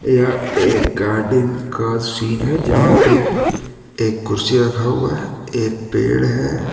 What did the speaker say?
यह एक गार्डन का सीन है जहां पे एक कुर्सी रखा हुआ है एक पेड़ है।